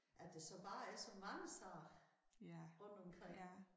At det så bare er så mange sager rundtomkring